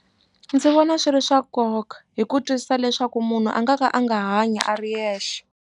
Ndzi vona swi ri swa nkoka hi ku twisisa leswaku munhu a nga ka a nga hanyi a ri yexe.